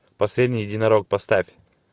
последний единорог поставь